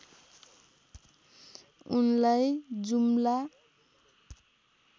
उनलाई जुम्ला